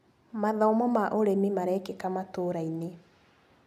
Mathomo ma ũrĩmi marekĩka matũrainĩ.